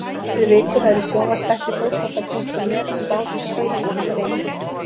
Gestir vikunnar í sjónvarpsþætti Fótbolta.net spáðu í spilin fyrir leikinn.